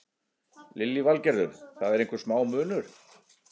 Lillý Valgerður: Það er einhver smá munur?